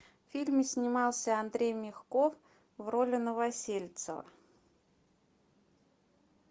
в фильме снимался андрей мягков в роли новосельцева